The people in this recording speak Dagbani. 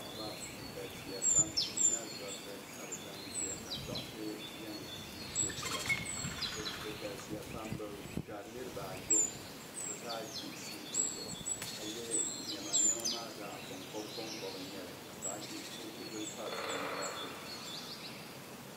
Paɣaba bi galsiya pam nina doriti ka bi zaŋ ʒiya ka doɣite yɛn cheekiba bi galsiya pam bi gari norabaa ayobu ka bi zaa ʒi siiti zuɣu ka yɛ niɛma niema maa zaa koŋkoba n nyɛli ka poochi bili pa so naba zuɣu